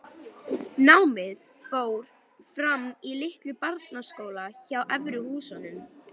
Námið fór fram í litlum barnaskóla hjá Efri-Húsum.